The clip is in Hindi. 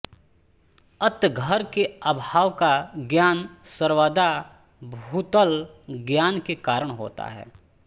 अत घर के अभाव का ज्ञान सर्वदा भूतलज्ञान के कारण होता है